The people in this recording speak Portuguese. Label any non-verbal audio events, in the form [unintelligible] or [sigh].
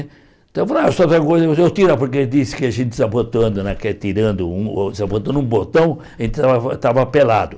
Então eu falava, [unintelligible] eu tiro, porque ele disse que a gente desabotando né, que é tirando um o desabotando um botão, a gente estava estava pelado.